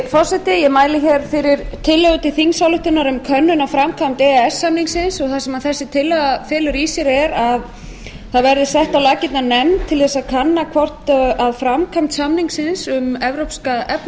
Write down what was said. forseti ég mæli fyrir tillögu til þingsályktunar um könnun á framkvæmd e e s samningsins og það sem þessi tillaga felur í sér er að það verður sett á laggirnar nefnd til að kanna hvort framkvæmd samningsins um evrópska